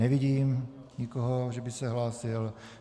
Nevidím nikoho, že by se hlásil.